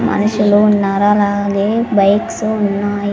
మనుషులు ఉన్నారు అలాగే బైక్సు ఉన్నాయ్.